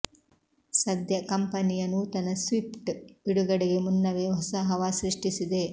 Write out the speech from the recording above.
ಸದ್ಯ ಕಂಪನಿಯ ನೂತನ ಸ್ವಿಫ್ಟ್ ಬಿಡುಗಡೆಗೆ ಮುನ್ನವೇ ಹೊಸ ಹವಾ ಸೃಷ್ಟಿಸಿದೆ